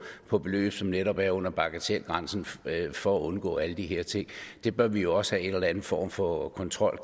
på beløb som netop er under bagatelgrænsen for at undgå alle de her ting der bør vi jo også have en eller anden form for kontrol